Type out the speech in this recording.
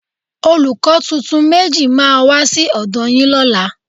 Olùkọ́ tuntun méjì máa wá sí ọ̀dọ́ yín lọ́la